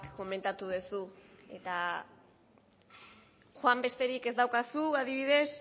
komentatu duzu eta joan besterik ez daukazu adibidez